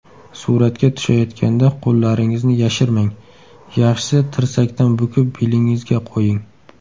Suratga tushayotganda qo‘llaringizni yashirmang, yaxshisi tirsakdan bukib belingizga qo‘ying.